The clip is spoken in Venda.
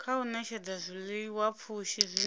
kha u ṅetshedza zwiḽiwapfushi zwine